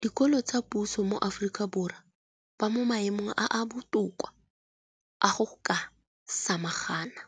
dikolo tsa puso mo Aforika Borwa ba mo maemong a a botoka a go ka samagana